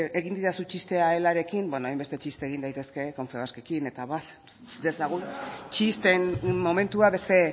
egin didazu txistea elarekin beno hainbeste txiste egin daitezke confebaskekin eta abar utz dezagun txisteen momentua beste